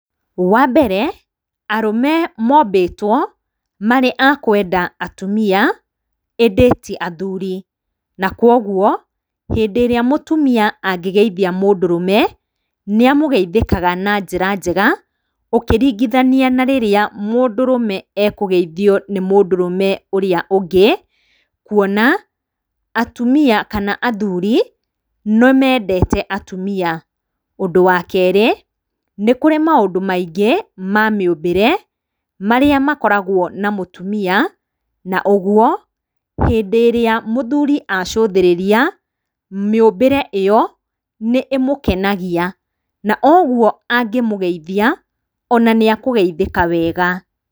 Wa mbere, arũme mobĩtwo marĩ a kwenda atumia, ĩndĩ ti athuri, na kũguo hĩndĩ ĩrĩa mũtumia angĩgeithia mũndũrũme, nĩ amũgeithĩkaga na njĩra njega, ũkĩringithania na rĩrĩa mũndũrũme akũgeithio nĩ mũndũrũme ũrĩa ũngĩ. Kuona atumia kana athuri, nĩ mendete atumia ũndũ wa kerĩ nĩ kũrĩ maũndu maingi ma mĩũmbĩre marĩa makoragwo na mũtumia na ũguo, hĩndĩ ĩrĩa mũthuri acũthĩrĩria mĩũmbĩre ĩyo, nĩ ĩmũkenagia na oũguo angĩmũgeithia ona nĩ akũgeithĩka wega.